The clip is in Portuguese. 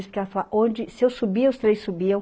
Porque ela fala, onde, se eu subia, os três subiam.